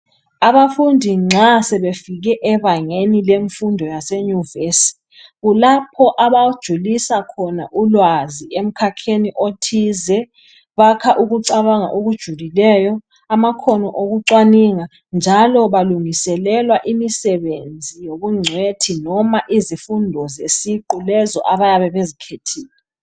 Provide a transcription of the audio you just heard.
Abafundi nxa sebefike ebangeni lemfundo yase nyuvesi, kulapho abajulisa khona ulwazi emkhakheni othize, bakha ukucabanga okujulileyo, amakhono okucwaninga, njalo balungiselela imisebenzi yobungcwethi noma izifundo zesiqu lezo abayabe bezkhethile.